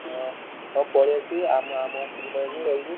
ହଁ ତ ପଳେଇଆସିବୁ ଆଉ ରହିବୁ।